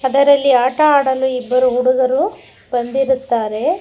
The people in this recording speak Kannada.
ಅದರಲ್ಲಿ ಆಟ ಆಡಲು ಇಬ್ಬರು ಹುಡುಗರು ಬಂದಿರುತ್ತಾರೆ.